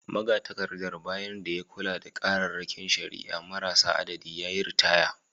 Magatakardar, bayan da ya kula da kararrakin shari’a marasa adadi, ya yi ritaya